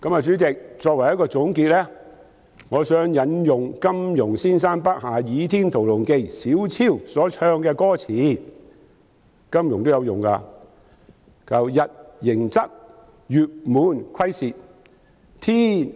主席，作為總結，我想引用金庸先生筆下《倚天屠龍記》小昭所唱的歌詞，金庸也曾引用："日盈昃，月滿虧蝕。